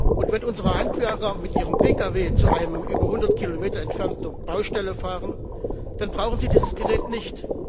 Und wenn unsere Handwerker mit ihrem Pkw zu einer über 100 Kilometer entfernten Baustelle fahren, dann brauchen sie dieses Gerät nicht.